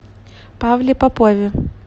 павле попове